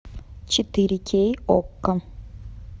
четыре кей окко